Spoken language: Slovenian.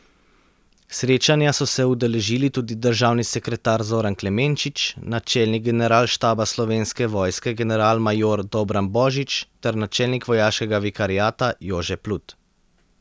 Srečanja so se udeležili tudi državni sekretar Zoran Klemenčič, načelnik Generalštaba Slovenske vojske generalmajor Dobran Božič ter načelnik vojaškega vikariata Jože Plut.